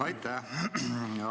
Aitäh!